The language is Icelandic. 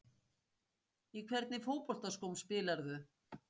Í hvernig fótboltaskóm spilarðu?